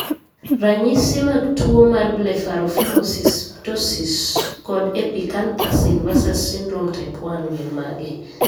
Ranyisi mag tuwo mar Blepharophimosis, ptosis, kod epicanthus inversus syndrome type 1 gin mage?